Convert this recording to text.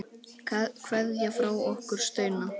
Kveðja frá okkur Steina.